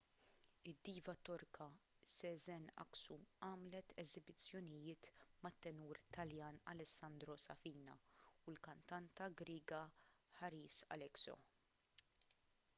id-diva torka sezen aksu għamlet esibizzjonijiet mat-tenur taljan alessandro safina u l-kantanta griega haris alexiou